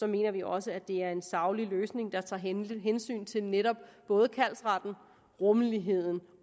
mener vi også det er en saglig løsning der tager hensyn hensyn til netop kaldsretten rummeligheden